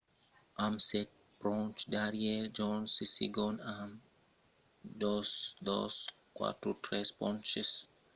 amb sèt ponches darrièr johnson es segond amb 2 243 ponches